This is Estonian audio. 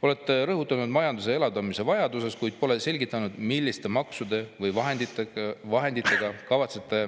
Olete rõhutanud majanduse elavdamise vajadust, kuid pole selgitanud, milliste maksude või vahenditega kavatsete